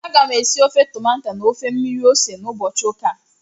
Aga m esi ofe tomato na ofe mmiri ose n'ụbọchị ụka a